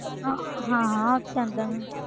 ਹਾਂ, ਹਾਂ ਹਾਂ ਉਹਤੇ ਆਉਂਦਾ ਹੈ ਮੈਨੂੰ।